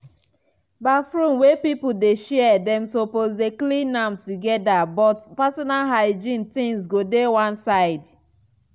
baffroom wey pipul dey share dem suppose dey clean am togeda but pesinal hygiene tings go dey one side.